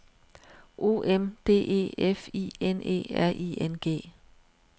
O M D E F I N E R I N G